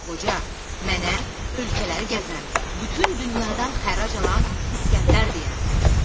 Qoca, mənə ölkələri gəzən, bütün dünyadan xərac alan İskəndər deyərlər.